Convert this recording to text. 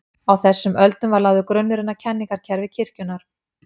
Á þessum öldum var lagður grunnurinn að kenningakerfi kirkjunnar.